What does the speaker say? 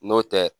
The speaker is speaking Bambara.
N'o tɛ